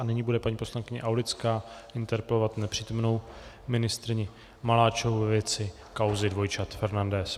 A nyní bude paní poslankyně Aulická interpelovat nepřítomnou ministryni Maláčovou ve věci kauzy dvojčat Fernandes.